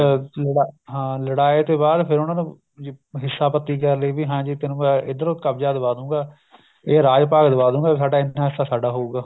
ਅਹ ਲੜਾ ਹਾਂ ਲੜਾਇਆ ਤੇ ਬਾਅਦ ਫ਼ਿਰ ਉਹਨਾ ਨੂੰ ਹਿੱਸਾ ਪੱਤੀ ਕਰ ਲਈ ਵੀ ਹਾਂਜੀ ਤੈਨੂੰ ਮੈਂ ਇੱਧਰੋ ਕਬਜਾ ਦਵਾ ਦੂਂਗਾ ਇਹ ਰਾਜ ਭਾਗ ਦਵਾ ਦੂਂਗਾ ਸਾਡਾ ਇੰਨਾ ਹਿੱਸਾ ਸਾਡਾ ਹੋਊਗਾ